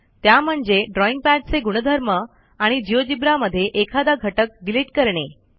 त्या म्हणजे ड्रॉईंग पॅडचे गुणधर्म आणि जिओजेब्रा मध्ये एखादा घटक डिलिट करणे